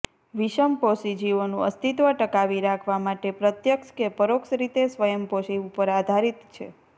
વિષમપોષી જીવોનું અસ્તિત્વ ટકાવી રાખવા માટે પ્રત્યક્ષ કે પરોક્ષ રીતે સ્વયંપોષી ઉપર આધારિત છે